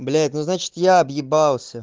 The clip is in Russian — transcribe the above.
блять ну значит я объебался